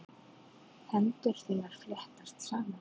Hendur þínar fléttast saman.